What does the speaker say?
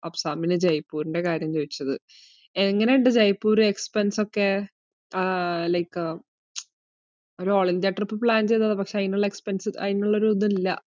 അഫ്സാമിന് ജയ്‌പ്പൂരിന്റെ കാര്യം ചോയിച്ചത്. എങ്ങനെ ഇണ്ട് ജയ്പ്പൂര് expense ഒക്കെ? ആഹ് like ഒര് all ഇന്ത്യാ trip plan ചെയ്തതാ, പക്ഷെ അയിനുള്ള expense അയിനുള്ള ഒരിത് ഇല്ല.